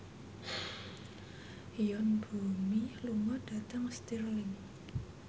Yoon Bomi lunga dhateng Stirling